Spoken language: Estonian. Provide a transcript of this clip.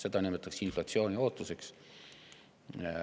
Seda nimetatakse inflatsiooniootuseks.